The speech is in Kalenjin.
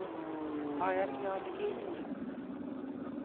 ayani ale kenyoru